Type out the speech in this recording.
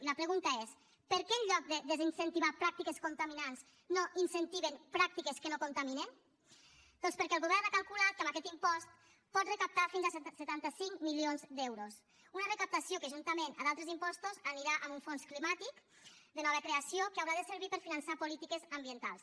i la pregunta és per què en lloc de desincentivar pràctiques contaminants no incentiven pràctiques que no contaminen doncs perquè el govern ha calculat que amb aquest impost pot recaptar fins a setanta cinc milions d’euros una recaptació que juntament amb d’altres impostos anirà a un fons climàtic de nova creació que haurà de servir per finançar polítiques ambientals